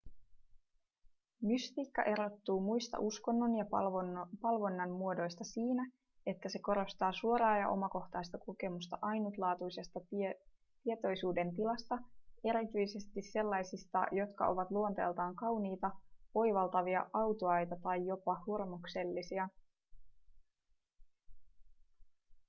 mystiikka erottuu muista uskonnon ja palvonnan muodoista siinä että se korostaa suoraa ja omakohtaista kokemusta ainutlaatuisesta tietoisuudentilasta erityisesti sellaisista jotka ovat luonteeltaan kauniita oivaltavia autuaita tai jopa hurmoksellisia